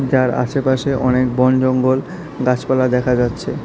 যার আশেপাশে অনেক বনজঙ্গল গাছপালা দেখা যাচ্ছে।